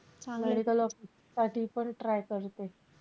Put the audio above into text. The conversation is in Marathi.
medical officer साठी पण try करते.